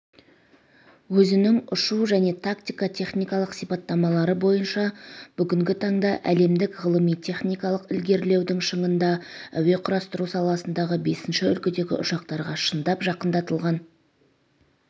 өзінің ұшу және тактика-техникалық сипаттамалары бойынша бүгінгі таңда әлемдік ғылыми-техникалық ілгерілеудің шыңында әуе құрастыру саласындағы бесінші үлгідегі ұшақтарға шындап жақындатылған